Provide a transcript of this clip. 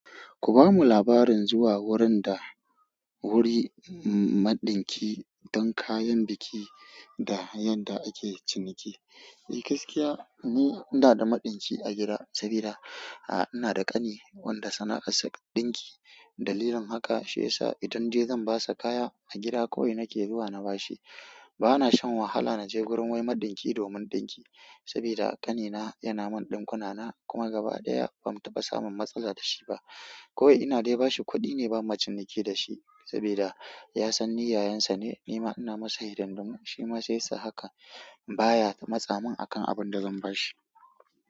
Ku bamu labarin zuwa wurin da wuri maɗinki don kayan biki da yanda ake ciniki. Eh gaskiya, ni ina da maɗinki a gida, sabida, a'a ina da ƙani wanda sana'arsa ɗinki. Dalilin haka shi ya sa idan de zan basa kaya a gida kawai nake zuwa na bashi. Bana shan wahala naje gurin wai maɗinki domin ɗinki sabida ƙanina yana min ɗinkuna na kuma gaba ɗaya ba mu taɓa samun matsala dashi ba kawai ina dai bashi kuɗi ne ba mu ciniki da shi sabida ya san ni yayansa ne. Nima ina masa hidan dumam, shi ma sai sa haka baya matsamin akan abin da zan bashi.